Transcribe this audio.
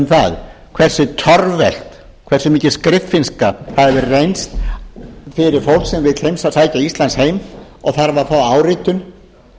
það hversu torvelt hversu mikil skriffinnska það hefur reynst fyrir fólk sem vill sækja ísland heim og þarf að fá áritun